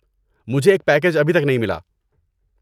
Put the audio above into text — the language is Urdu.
مجھے ایک پیکیج ابھی تک نہیں ملا۔